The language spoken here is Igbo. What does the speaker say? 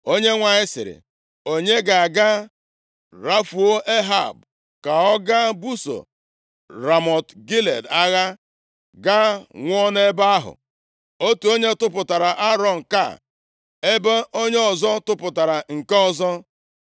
Onyenwe anyị sịrị, ‘Onye ga-aga rafuo Ehab ka ọ gaa buso Ramọt Gilead agha, gaa nwụọ nʼebe ahụ?’ “Otu onye tụpụtara aro nke a, ebe onye ọzọ tụpụtara nke ọzọ.